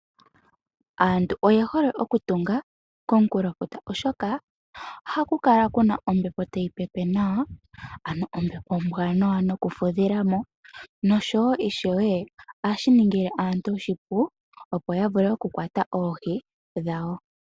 Aantu oye hole okutunga komunkulofuta, molwaashoka ohaku kala ku na ombepo tayi pepe nawa , ano ombepo ombwaanawa yokufudhila mo noshowo ohashi ningile aantu oshipu opo ya vule okukwata oohi dhawo.